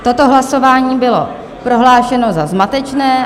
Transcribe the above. Toto hlasování bylo prohlášeno za zmatečné.